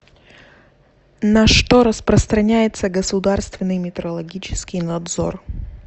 на что распространяется государственный метрологический надзор